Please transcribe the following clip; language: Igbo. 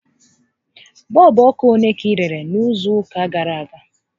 Bọọlbụ ọkụ ole ka ị rere n'izu ụka gàrà aga?